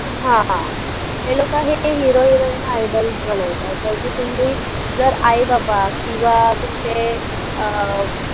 हा हे लोकं हे hero heroin ना idol बनवतात बाकी तुम्ही जर आई बाबा किंवा तुमचे अं fa